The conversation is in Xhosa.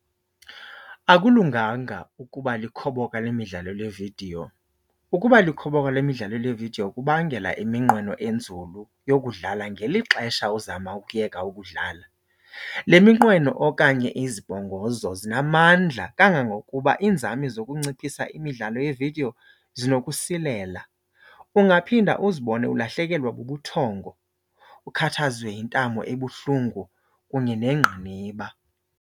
Akulunganga ukuba likhoboka lemidlalo leevidiyo. Ukuba likhoboka lemidlalo leevidiyo kubangela iminqweno enzulu yokudlala ngeli xesha uzama ukuyeka ukudlala. Le minqweno okanye izibongozo zinamandla kangangokuba iinzame zokunciphisa imidlalo yeevidiyo zinokusilela. Ungaphinda uzibone ulahlekelwa bubuthongo, ukhathazwe yintamo ebuhlungu kunye nengqiniba.